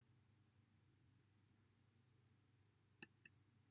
derbyniodd e'r arwr yr undeb sofietaidd anrhydedd uchaf yr undeb sofietaidd am ei waith